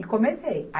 E comecei.